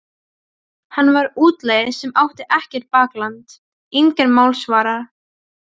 Hann var útlagi sem átti ekkert bakland, engan málsvara.